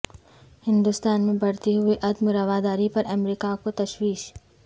ہندوستان میں بڑھتی ہوئی عدم رواداری پر امریکہ کو تشویش